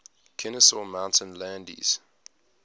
kenesaw mountain landis